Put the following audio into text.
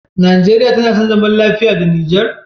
Nigeria tAna son zaman lafiya da niger?